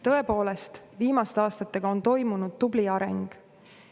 Tõepoolest, viimaste aastatega on toimunud tubli areng.